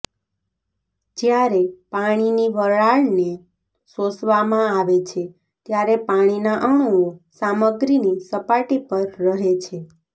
જ્યારે પાણીની વરાળને શોષવામાં આવે છે ત્યારે પાણીના અણુઓ સામગ્રીની સપાટી પર રહે છે